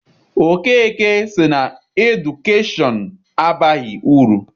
Okeke sị na edukeshọn abaghị uru.